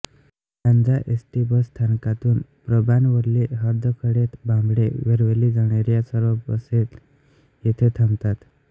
Lanja ST bus स्थानकातून प्रभानवल्ली हर्दखळे भांबेड वेरवली जाणाऱ्या सर्व बसेल येथे थांबतात